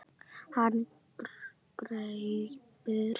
Hann grípur það.